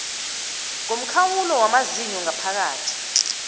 ngomkhawulo wamazinyo ngaphakathi